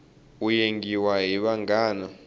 u yengiwe hi vanghana